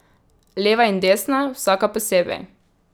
Leva in desna, vsaka posebej.